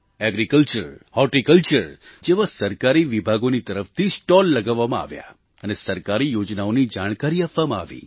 agriculture horticulture જેવા સરકારી વિભાગોની તરફથી સ્ટૉલ લગાવવામાં આવ્યા અને સરકારી યોજનાઓની જાણકારી આપવામાં આવી